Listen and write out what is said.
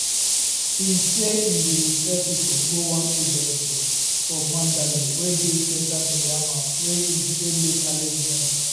im say im bin refer pipo go one agency for mandalay wey dey central myanmar wey im say make arrangements